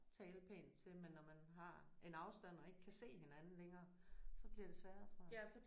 Tale pænt til men når man har en afstand og ikke kan se hinanden længere så bliver det sværere tror jeg